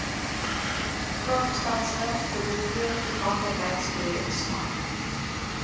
kaapstadse biblioteektoeganklikheidsprojek smart